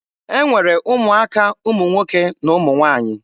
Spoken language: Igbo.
E nwere ụmụaka ụmụ nwoke na ụmụ nwaanyị.